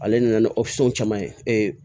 Ale nana ni caman ye